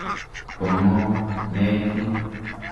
Po ng'o nechu?